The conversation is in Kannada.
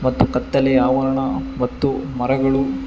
ಹಾಗೂ ಕತ್ತಲೆ ಆವರಣ ಮತ್ತು ಮರಗಳು--